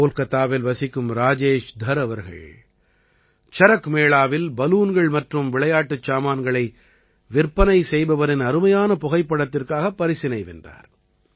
கோல்காத்தாவில் வசிக்கும் ராஜேஷ் தர் அவர்கள் சரக் மேளாவில் பலூன்கள் மற்றும் விளையாட்டுச் சாமான்களை விற்பனை செய்பவரின் அருமையான புகைப்படத்திற்காக பரிசினை வென்றார்